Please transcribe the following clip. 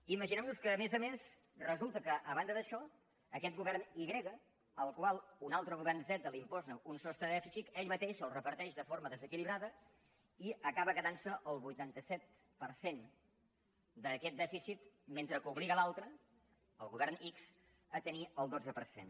imaginem nos que a més a més resulta que a banda d’això aquest govern i grega al qual un altre govern zeta li imposa un sostre de dèficit ell mateix el reparteix de forma desequilibrada i acaba quedant se el vuitanta set per cent d’aquest dèficit mentre que obliga l’altre el govern ics a tenir el dotze per cent